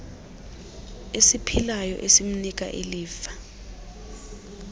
esiphilayo esimnika ilifa